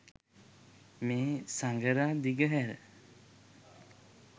මේ සඟරා දිගහැර